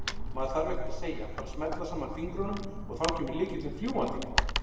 Maður þarf ekkert að segja, bara smella saman fingrunum og þá kemur lykillinn fljúgandi!